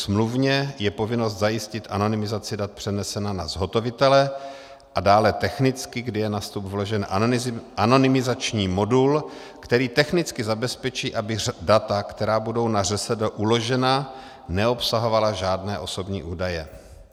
Smluvně je povinnost zajistit anonymizaci dat přenesena na zhotovitele a dále technicky, kdy je na vstup vložen anonymizační modul, který technicky zabezpečí, aby data, která budou na ŘSD uložena, neobsahovala žádné osobní údaje.